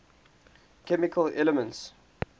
chemical elements